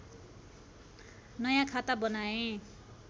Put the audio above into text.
नयाँ खाता बनाएँ